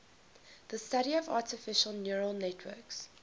the study of artificial neural networks